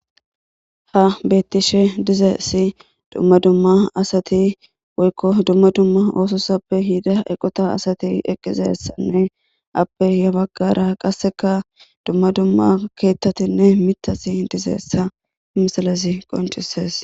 Ha beettishe dizeyssi dumma dumma asati woykko dumma dumma oososappe hida eqota asati eqqizeyssanne appe ya baggara qasseka dumma dumma keettatinne mitati dizeyssa misilezi qonccisees.